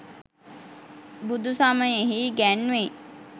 බුදු සමයෙහි ඉගැන්වෙයි.